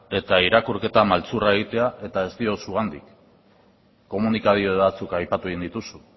eta irakurketa maltzurra egitea eta ez diot zugatik komunikabide batzuk aipatu egin dituzu